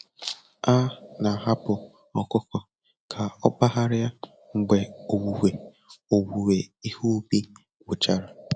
A na-ahapụ ọkụkọ ka okpagharia mgbe owuwe owuwe ihe ubi gwụchara.